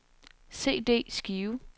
CD-skive